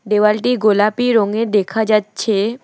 দেওয়ালটি গোলাপী রঙের দেখা যাচ্ছে।